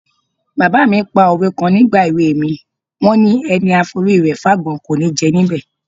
Bàbá mi pa òwe kan nígbà èwe mi, wọ́n ni: "Ẹni a forí rẹ̀ fágbọ́n, kò ní jẹ níbẹ̀".